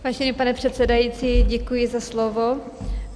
Vážený pane předsedající, děkuji za slovo.